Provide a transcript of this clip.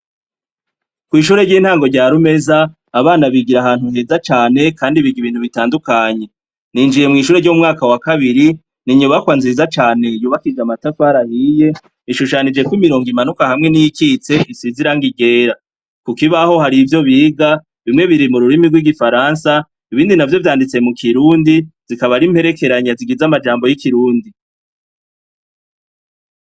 Kw'ishure ry'intango ryarumeza abana bigira ahantu heza cane, kandi biga ibintu bitandukanye ninjiye mw'ishure ry'umwaka wa kabiri ninyubakwa nziza cane yubakije amatafar ahiye ishushanijeko imirongo imanuka hamwe n'ikitse isizirango igera kukibaho hari ivyo biga bimwe biri mu rurimi rw'igifaransa bindi na vyo vyanditse mu kirundi zikabari imperekeranya zigiza amajambo y'ikirundi.